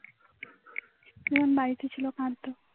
তোমার বাড়িতে ছিল কাঁদতে